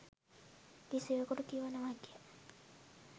කිසිවෙකුට කිව නොහැකිය